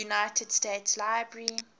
united states library